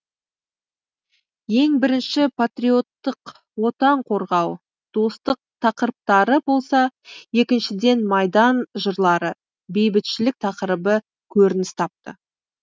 ең бірінші патриоттық отан қорғау достық тақырыптары болса екіншіден майдан жырлары бейбітшілік тақырыбы көрініс тапты